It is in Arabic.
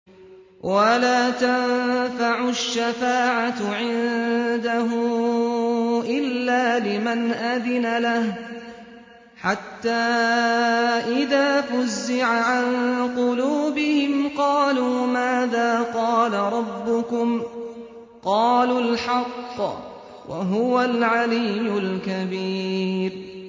وَلَا تَنفَعُ الشَّفَاعَةُ عِندَهُ إِلَّا لِمَنْ أَذِنَ لَهُ ۚ حَتَّىٰ إِذَا فُزِّعَ عَن قُلُوبِهِمْ قَالُوا مَاذَا قَالَ رَبُّكُمْ ۖ قَالُوا الْحَقَّ ۖ وَهُوَ الْعَلِيُّ الْكَبِيرُ